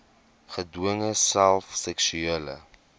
gedwonge self seksuele